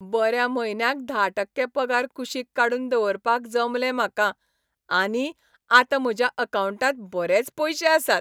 बऱ्या म्हयन्याक धा टक्के पगार कुशीक काडून दवरपाक जमलें म्हाका आनी आतां म्हज्या अकावंटांत बरेच पयशे आसात.